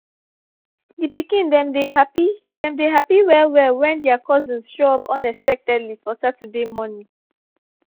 the pikin dem dey happy dem dey happy well well when their cousins show up unexpectedly for saturday morning